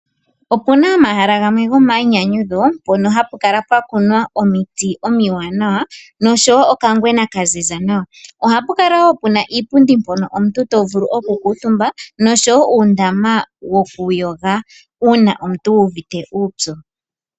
Opu na omahala gamwe gomainyanyudho mpono hapu kala pwa kunwa omiti omiwanawa, noshowo okangwena ka ziza nawa. Ohapu kala wo puna iipundi mpono omuntu to vulu okukutumba, noshowo uundama wokuyoga uuna omuntu wu uvite uupyu.